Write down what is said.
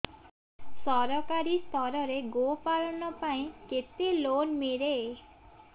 ସରକାରୀ ସ୍ତରରେ ଗୋ ପାଳନ ପାଇଁ କେତେ ଲୋନ୍ ମିଳେ